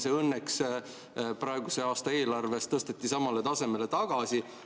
See õnneks praeguse aasta eelarves tõsteti samale tasemele tagasi.